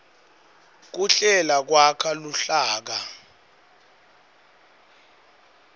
kuhlela kwakha luhlaka